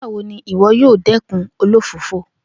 Nigbawo ni iwọ yoo dẹkun olofofo?